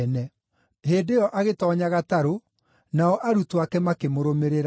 Hĩndĩ ĩyo agĩtoonya gatarũ, nao arutwo ake makĩmũrũmĩrĩra.